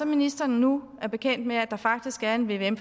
ministeren nu er bekendt med at der faktisk er en vvm